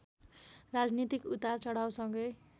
राजनीतिक उतार चढावसँगै